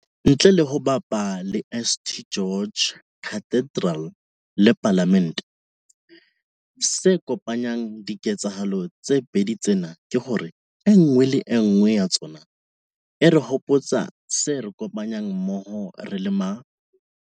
Ntle le ho bapa ha St George's Cathedral le Palamente, se kopanyang diketsahalo tse pedi tsena ke hore e nngwe le e nngwe ya tsona e re hopotsa se re kopanyang mmoho re le ma.